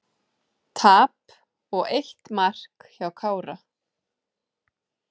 Tap og eitt mark hjá Kára